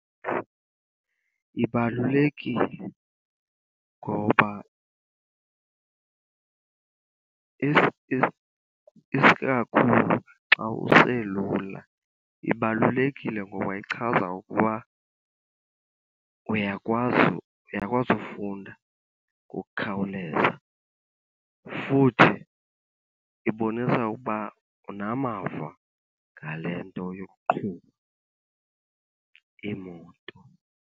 Ibalulekile ngoba , isikakhulu xa uselula, ibalulekile ngoba ichaza ukuba uyakwazi, uyakwazi ufunda ngokukhawuleza. Futhi ibonisa ukuba unamava ngale nto yokuqhuba imoto.